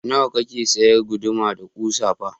Nawa kake sayar guduma da kusa fa?